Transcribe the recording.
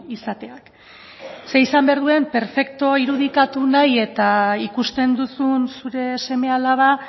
izateak zeren izan behar duen perfektu irudikatu nahi eta ikusten duzun zure seme alaba